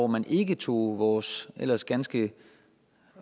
man ikke tog vores ellers ganske